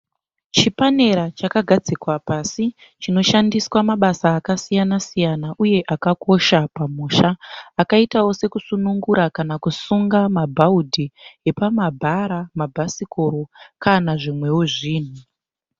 Chipanera chakagadzikwa pasi chinoshandiswa mabasa akasiyana siyana uye akakosha pamusha. Akaitao sekusunungura kana kusunga mabhaudhi epamabhara, mabhasikoro kana zvimweo zvinhu.